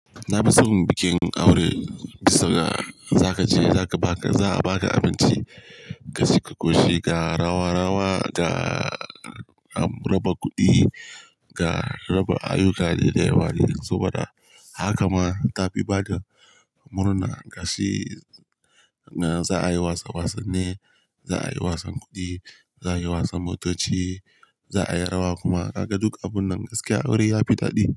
Na fi son bikin aure, bisa ga za ka je za ka ba ka, za a ba ka abinci, ka ci ka koshi, ga rawa-rawa, ga raba kuɗi, ga raba ayyuka da yawa. Saboda haka ma ta fi bada murna gashi. Za a yi wasan wasannai, za a yi wasan kuɗi, za a yi wasan motoci, za a yi rawa kuma. Kaga duk abun nan gaskiya aure ya fi daɗi.